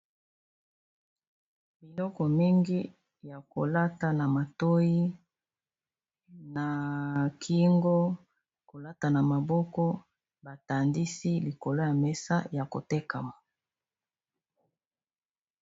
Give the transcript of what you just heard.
Biloko mingi ya kolata na matoyi na kingo kolata na maboko batandisi likolo ya mesa ya kotekama